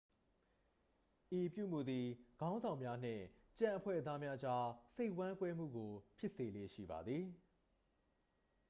ဤအပြုအမူသည် ခေါင်းဆောင်များနှင့် ကျန်အဖွဲ့သားများကြား စိတ်ဝမ်းကွဲမှုကို ဖြစ်စေလေ့ရှိပါသည်